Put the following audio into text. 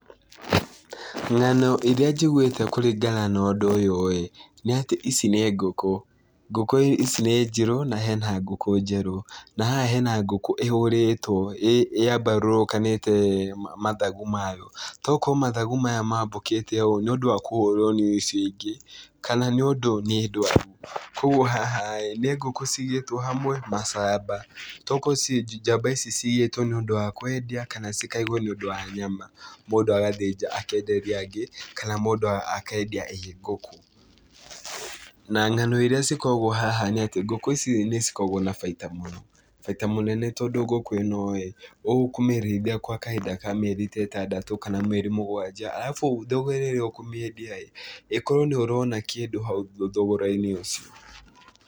Ng'ano irĩa njiguĩte kũringana na ũndũ ũyũ ĩĩ, nĩ atĩ ici nĩ ngũkũ. Ngũkũ ici nĩ njirũ, na hena ngũkũ njerũ. Na haha hena ngũkũ ĩhũrĩtwo, yambarũrũkanĩte mathagu mayo. Tokorwo mathagu maya maya mambũkĩte ũũ nĩ ũndũ wa kũhũrwo nĩ ici ingĩ, kana nĩ ũndũ nĩ ndwaru. Kũguo haha ĩ nĩ ngũkũ cigĩtwo hamwe macamba. Tokorwo njamba ici cigĩtwo nĩ ũndũ wa kwendia kana cikaigwo nĩ ũndũ wa nyama. Mũndũ agathĩnja kana mũndũ akenderia angĩ, kana mũndũ akendia ii ngũkũ. Na ng'ano irĩa cikoragwo haha nĩ atĩ ngũkũ ici nĩ cikoragwo na baita mũno. Baita mũnene tondũ ngũkũ ĩno ĩĩ, ũkũmĩrĩithia gwa kahinda ka mĩeri ta ĩtandatũ, kana mĩeri mũgwanja. Arabu thogora ĩrĩa ũkũmĩendia-ĩ, ĩkorwo nĩ ũrona kĩndũ hau thogora-inĩ ũcio.